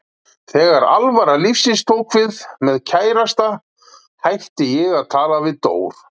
Þegar alvara lífsins tók við, með kærasta, hætti ég að tala við Dór.